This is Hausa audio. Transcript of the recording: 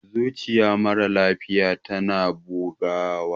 zuciyar mara lafiya tana bugawa